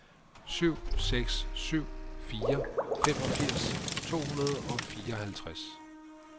syv seks syv fire femogfirs to hundrede og fireoghalvtreds